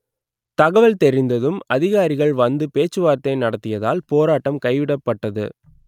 தகவல் தெரிந்ததும் அதிகாரிகள் வந்து பேச்சுவார்த்தை நடத்தியதால் போராட்டம் கைவிடப்பட்டது